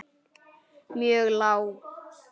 mjög lág.